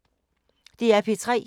DR P3